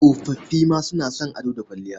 Tsofoffi ma suna son ado da kwalliya.